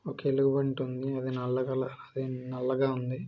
ఒక ఎలుగుబంటి ఉంది. అది నల్ల కలర్ అది నల్లగా ఉంది.